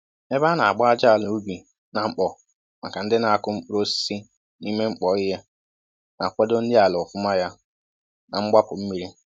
Ebe ana agba ájá àlà ubi na mkpọ maka ndị n'akụ mkpụrụ osisi n'ime mkpọ ihe ,na kwado nri àlà ọfụma yá na mgbapu mmiri